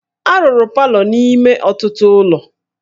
A rụrụ palọ n'ime ọtụtụ ụlọ